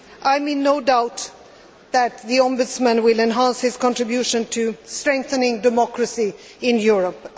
I am in no doubt that the Ombudsman will enhance his contribution to strengthening democracy in Europe.